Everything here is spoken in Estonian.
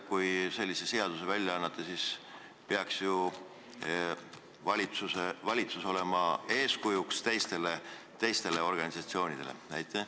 Kui te sellise seaduse välja annate, siis peaks ju valitsus olema teistele organisatsioonidele eeskujuks.